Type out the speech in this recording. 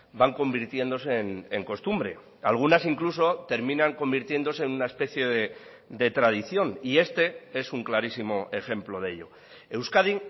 van convirtiéndose en costumbre algunas incluso terminan convirtiéndose en una especie de tradición y este es un clarísimo ejemplo de ello euskadi